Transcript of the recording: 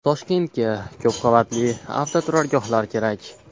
Toshkentga ko‘p qavatli avtoturargohlar kerak .